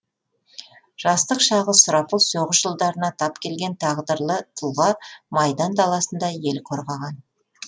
жастық шағы сұрапыл соғыс жылдарына тап келген тағдырлы тұлға майдан даласында ел қорғаған